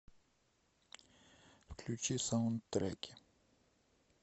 включи саундтреки